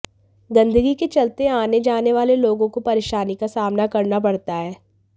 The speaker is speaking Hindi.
गंदगी के चलते आने जाने वाले लोगों को परेशानी का सामना करना पड़ता है